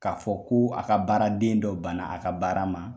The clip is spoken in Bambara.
K'a fɔ ko a ka baara den dɔ banna a ka baara ma